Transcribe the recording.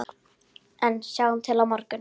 En sjáum til á morgun!